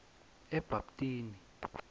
ebhabtini